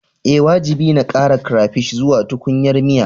Ee, wajibi ne a ƙara crayfish zuwa tukunyar miya